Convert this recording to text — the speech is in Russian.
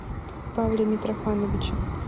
павле митрофановиче